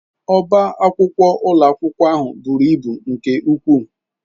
Ọbá akwụkwọ ụlọ akwụkwọ ahụ buru ibu nke ukwuu